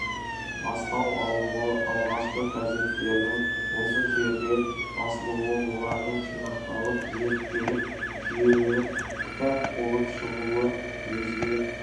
бастау алуы алғашқы газеттердің осы жерде басылуы олардың жинақталып зерттеліп жүйеленіп кітап болып шығуы өзге